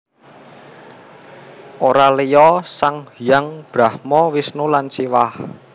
Ora liya sang hyang Brahma Wisnu lan Siwah